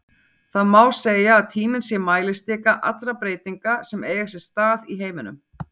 Það má segja að tíminn sé mælistika allra breytinga sem eiga sér stað í heiminum.